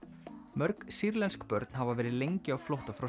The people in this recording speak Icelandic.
mörg sýrlensk börn hafa verið lengi á flótta frá